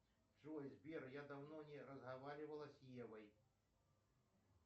джой сбер я давно не разговаривала с евой